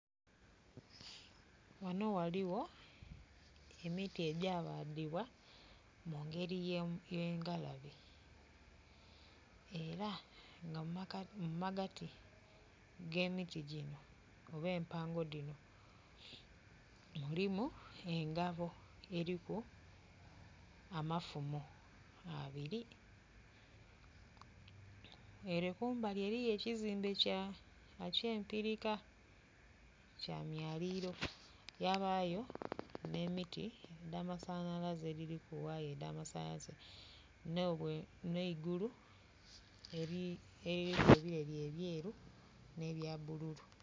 Ghano ghaligho emiti egya badhibwa mungeri ey'engalabe era nga mumagati ge miti gino oba empango dhino mulimu engabo eriku amafumo abiri, ere kumbali eriyo ekizimbe eky'empirika kya myaliliro. Yabayo n'emiti edh'amasanhalaze edhiliku waya edh'amasanhalaze, n'eigulu eliriku ebileri ebyeru ne bya bululu.